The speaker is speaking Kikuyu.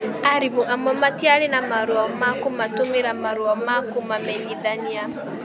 Arimũ amwe matiarĩ na marũa ma kũmatũmĩra marũa ma kũmamenyithania.